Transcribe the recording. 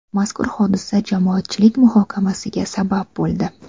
Mazkur hodisa jamoatchilik muhokamasiga sabab bo‘ldi.